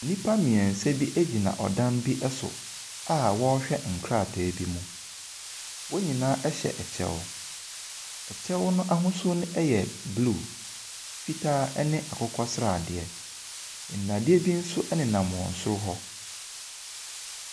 Nnipa mmiɛnsa bi gyina ɔdan bi ɛso a ɔrehwɛ nkrataa bi mu. Wɔn nyinaa ɛhyɛ ɛkyɛw. Ɛkyɛw n'ahosuo ɛyɛ blue, fitaa ɛne akokɔ sradeɛ. Nnadeɛ bi ɛnso ɛnenam wɔn soro hɔ.